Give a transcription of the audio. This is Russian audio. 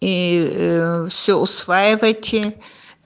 и всё усваивайте